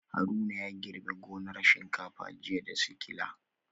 Haruna ya girbe gonar shinkafa jiya da sikila